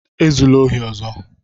Ezula ohi ọzọ!